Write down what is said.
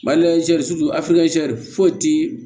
foyi ti